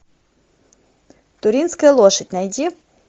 туринская лошадь найди